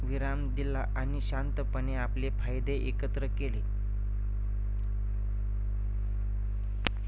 विराम दिला आणि शांतपणे आपले फायदे एकत्र केले.